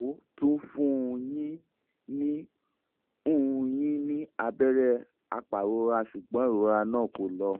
wọ́n tún fún un yín ní un yín ní abẹ́rẹ́ apàrora ṣùgbọ́n ìrora náà kò lọ